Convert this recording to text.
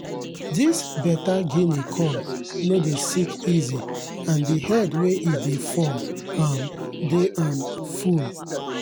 this better guinea corn no dey sick easy and the head wey e dey form um dey um full.